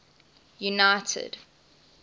united